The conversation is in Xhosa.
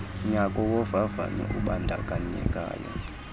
nyaka wovavanyo ubandakanyekayo